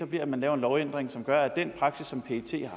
bliver at man laver en lovændring som gør at den praksis som pet